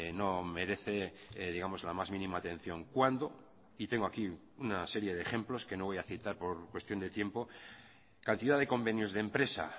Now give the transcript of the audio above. no merece digamos la más mínima atención cuando y tengo aquí una serie de ejemplos que no voy a citar por cuestión de tiempo cantidad de convenios de empresa